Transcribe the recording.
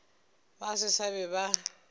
ba se ba be ba